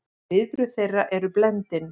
Viðbrögð þeirra eru blendin.